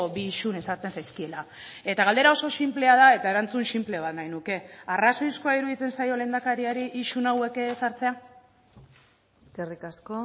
bi isun ezartzen zaizkiela eta galdera oso sinplea da eta erantzun sinple bat nahi nuke arrazoizkoa iruditzen zaio lehendakariari isun hauek ezartzea eskerrik asko